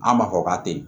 An b'a fɔ k'a te yen